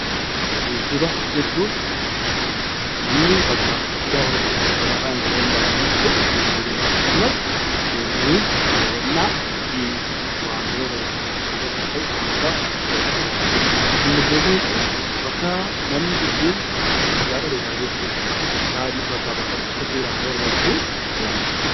Geejjiba jechuun namni bakkaa bakkatti gaafa socho'u konkolaataanis tahuu danda'a, gaafa socho'u geejjiba jedhama. Akkasumas turizimiin daawwannaa yookiis waantota tokko tokko biqiltootas haa tahu waantota tokko tokko daawwachuudha. Immigireeshinii jechuun bakka namni ittiin ragaa dhalootaa geessudhaani meeshaa bakkaa bakkatti socho'u dhaaf Isa barbaachisu itti fayyadamudha.